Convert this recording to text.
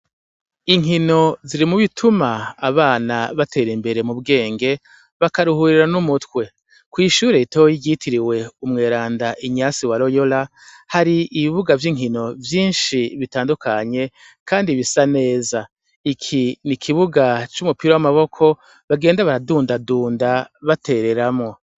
Inkino ziri mu bituma abana batera imbere mu bwenge bakaruhurira n'umutwe, kw'ishure ritoyi ryitiriwe umweranda Inyasi wa royora hari ibibuga vy'inkino vyinshi bitandukanye kandi bisa neza, iki n'ikibuga c'umupira w'amaboko bagenda baradundadunda batereramwo.